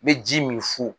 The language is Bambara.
N bɛ ji min fu